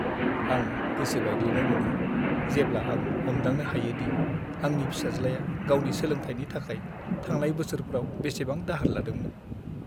आं गोसो बायग्लिनाय मोनो, जेब्ला आं हमदांनो हायो दि आंनि फिसाज्लाया गावनि सोलोंथायनि थाखाय थांनाय बोसोरफ्राव बेसेबां दाहार लादोंमोन।